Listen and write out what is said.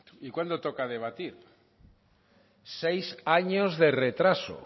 y cuándo toca debatir seis años de retraso